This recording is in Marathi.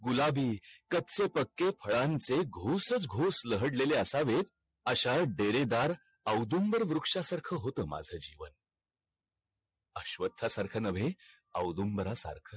गुलाबी कचे पक्के फळांचे घोसच घोस लहडलेले असावे अश्या डेरे दार अवडुंबर वृक्षा सारख होत माझ जीवन अश्वत्थ सारख नवे अवदुंबरा सारख